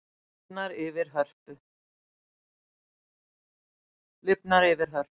Lifnar yfir Hörpu